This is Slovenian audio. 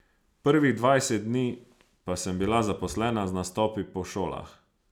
Prvih dvajset dni pa sem bila zaposlena z nastopi po šolah.